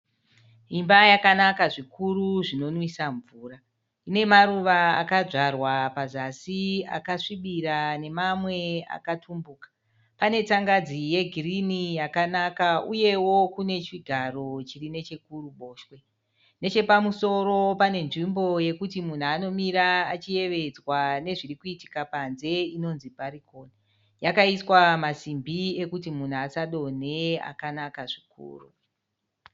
Imba yakanaka zvikuru zvinomwisa mvura. Ine maruva akadzvarwa pazasi akasvibira nemamwe akatumbuka. Pane tsangadzi yegirini yakanaka uyewo kune chigaro chiri nechekuruboshwe. Nechepamusoro pane nzvimbo yekuti munhu anomira achiyevedzwa nezviri kuitka panze inonzi bharukoni. Yakaiswa masimbi ekuti munhu asadonhe akanaka zvikuru.